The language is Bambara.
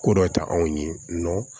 Ko dɔ ta anw ye